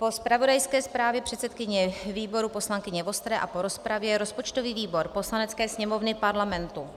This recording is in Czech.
Po zpravodajské zprávě předsedkyně výboru poslankyně Vostré a po rozpravě rozpočtový výbor Poslanecké sněmovny Parlamentu